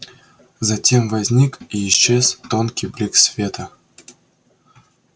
затем возник и исчез тонкий блик света